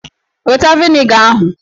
Weta vịnịga ahụ!